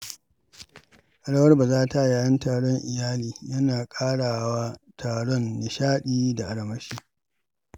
Rawar-bazata yayin taron iyali yana ƙarawa taron nishaɗi da armashi.